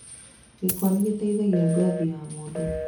Gĩkwa nĩ gĩteithagia Ngothi ya mũndũ.